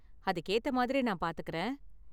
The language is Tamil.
அதுக்கு ஏத்த மாதிரி நான் பாத்துக்கறேன்.